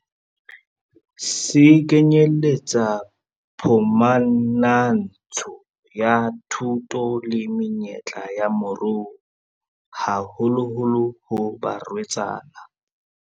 Se kenyeletsa phumantsho ya thuto le menyetla ya moruo, haholoholo ho barwetsana.